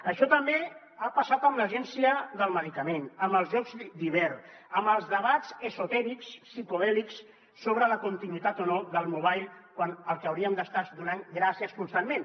això també ha passat amb l’agència del medicament amb els jocs d’hivern amb els debats esotèrics psicodèlics sobre la continuïtat o no del mobile quan el que hauríem d’estar és donant ne gràcies constantment